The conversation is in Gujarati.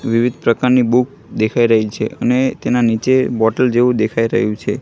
વિવિધ પ્રકારની બુક દેખાય રહી છે અને તેના નીચે બોટલ જેવુ દેખાય રહ્યુ છે.